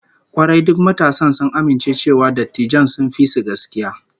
Kwarai, duk matasan sun amince cewa dattijan sun fi su gaskiya